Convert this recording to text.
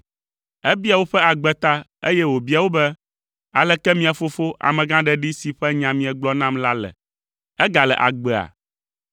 Ebia woƒe agbe ta, eye wòbia wo be, “Aleke mia fofo, amegãɖeɖi si ƒe nya miegblɔ nam la le? Egale agbea?”